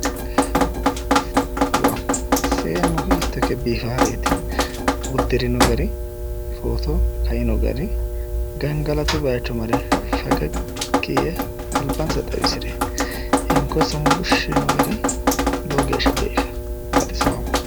Seennu hiitto ikke biifaareeti! Uddirino gari, footo kaino gari, gangalatu bayicho mare fegeggi yee albansa xawisire hinkonsa muushshi yiino gari lowo geeshsha biifawo. Baxisawo.